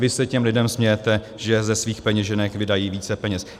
Vy se těm lidem smějete, že ze svých peněženek vydají více peněz.